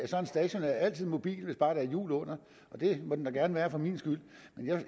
at en stationær altid er mobil hvis bare der er hjul under og det må den da gerne være for min skyld